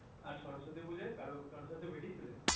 আর সরস্বতী পূজোয় কারু কারুর সাথে বেরিয়েছিলে